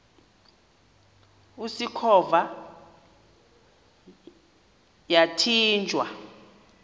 usikhova yathinjw a